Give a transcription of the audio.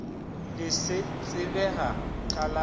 le se tsebega ka la